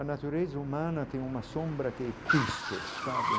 A natureza humana tem uma sombra que piche, sabe?